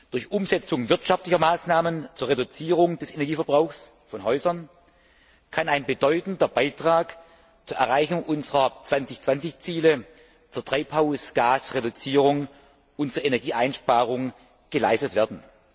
Durch Umsetzung wirtschaftlicher Maßnahmen zur Reduzierung des Energieverbrauchs von Häusern kann ein bedeutender Beitrag zur Erreichung unserer 2020 Ziele zur Treibhausgasreduzierung und zur Energieeinsparung geleistet werden.